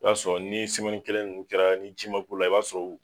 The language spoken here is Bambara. O y'a sɔrɔ n'i ye kelen ninnu kɛra ni ji m'a k'u la i b'a sɔrɔ u